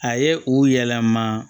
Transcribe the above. A ye u yɛlɛma